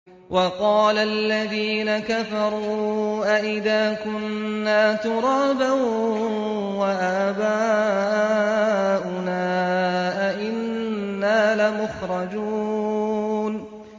وَقَالَ الَّذِينَ كَفَرُوا أَإِذَا كُنَّا تُرَابًا وَآبَاؤُنَا أَئِنَّا لَمُخْرَجُونَ